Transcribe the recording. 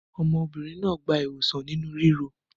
Ọmọbìnrin náà gba ìwòsàn inú ríro?